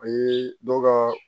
A ye dɔw ka